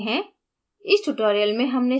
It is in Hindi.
अब सारांशित करते हैं